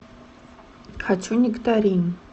хочу нектарин